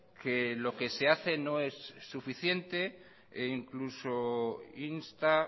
que lo que se hace no es suficiente e incluso insta